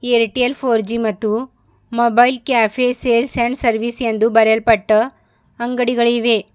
Airtel four G ಮತ್ತು mobile cafe sales and service ಎಂದು ಬರೆಯಲ್ಪಟ್ಟು ಅಂಗಡಿಗಳಿವೆ.